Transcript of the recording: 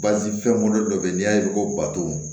Bazi fɛn bɔlen dɔ bɛ yen n'i y'a ye ko bato